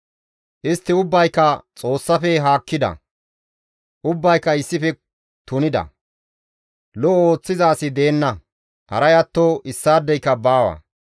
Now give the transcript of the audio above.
Istti ubbayka Xoossaafe haakkida; ubbayka issife tunida; lo7o ooththiza asi deenna; haray atto issaadeyka baawa.